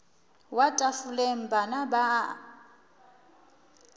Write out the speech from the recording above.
wa tafoleng bana ba a